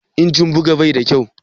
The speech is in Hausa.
Injin buga ba kyau ne?